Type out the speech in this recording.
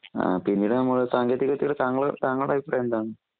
ആഹ്പിന്നീട്നമ്മള് സാങ്കേതികവിദ്യയുടെ താങ്ങള് താങ്ങളുടഭിപ്രായെന്താന്ന്?